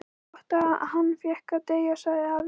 Það var gott að hann fékk að deyja sagði afi.